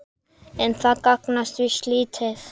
En það gagnast víst lítið.